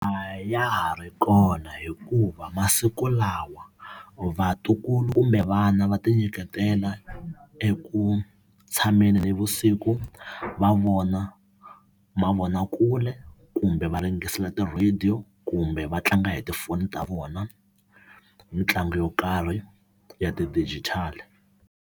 A ya ha ri kona hikuva masiku lawa vatukulu kumbe vana va ti nyiketela eku tshameni navusiku va vona mavonakule kumbe va ti-radio kumbe va tlanga hi tifoni ta vona mitlangu yo karhi ya ti-digital.